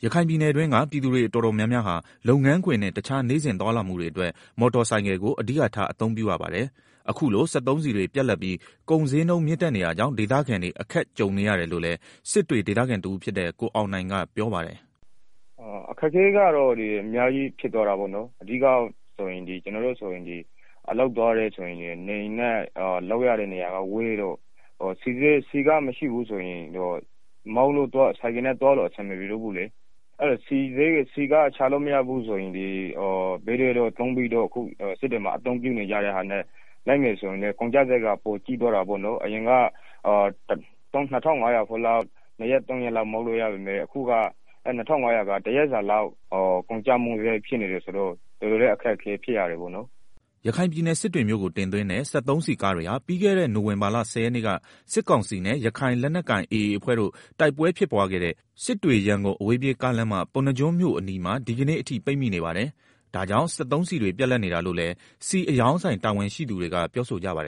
” ရခိုင်ပြည်နယ်မှာ ပြည်သူတော်တော်များများက လုပ်ငန်းခွင်နဲ့ တခြား နေ့စဉ်သွားလာမှုတွေအတွက် မော်တော်ဆိုင်ကယ်ကို အဓိကထား အသုံးပြုနေရပါတယ်။ အခုလို စက်သုံးဆီတွေ ပြတ်လပ်ပြီး ဈေးနှုန်းမြင့်တက်နေတာကြောင့် ဒေသခံတွေ အခက်ကြုံရတယ်လို့လည်း စစ်တွေဒေသခံတဦးဖြစ်တဲ့ ကိုအောင်နိုင်ကပြောပါတယ်။ “ အခက်အခဲကတော့ အများကြီးဖြစ်သွားတာပေါ့နော်။ ကျနော်တို့ဆိုရင် အလုပ်သွားရင် နေအိမ်နဲ့ လုပ်ရတဲ့နေရာကဝေးတော့ ဆီမရှိတော့ဘူးဆိုရင် ဆိုင်ကယ်နဲ့သွားလို့အဆင် မပြေတော့ဘူးလေ၊ ဆီမရှိတော့ ဘေးတွဲတို့ သုံးဘီးဆိုင်ကယ် ကယ်ရီတွေနဲ့သွားမယ်ဆိုရင်လည်း ကုန်ကျစရိုတ်က ပိုကြီးသွားတာပေါ့နော်၊ အရင်က ၂,၅၀၀ ဖိုးလောက်ဆိုရင် နှစ်ရက်သုံးရက် လောက်သွားလို့ရပေမယ့် အခု ၂,၅၀၀ ဖိုးဆိုရင် တရက်စာလောက်ပဲသွားလို့ရတော့ တကယ်အခက်အခဲဖြစ်ရတယ်။” ရခိုင်ပြည်နယ် စစ်တွေမြို့ကိုတင်သွင်းတဲ့ စက်သုံးဆီကားတွေဟာ ပြီးခဲ့တဲ့ နိုဝင်ဘာလ ၁၀ ရက်နေ့က စစ်ကောင်စီနဲ့ ရခိုင်လက်နက်ကိုင် AA အဖွဲ့တို့ တိုက်ပွဲ ဖြစ်ပွားခဲ့တဲ့ စစ်တွေ-ရန်ကုန် အဝေးပြေးကားလမ်းမ ပုဏ္ဏားကျွန်းမြို့အနီးမှာ ဒီကနေ့ အထိ ပိတ်မိနေပါတယ်။ ဒါကြောင့် စက်ဆုံးဆီတွေ ပြတ်လပ်နေတာလို့လည်း ဆီအရောင်းဆိုင် တာဝန်ရှိသူ တွေကပြောဆိုကြပါတယ်